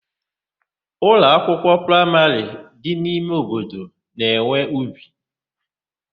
Ụlọakwụkwọ praimarị dị n'ime obodo na-enwe ubi.